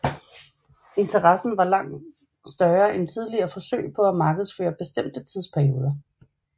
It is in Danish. Interessen var langt større end tidligere forsøg på at markedsføre bestemte tidsperioder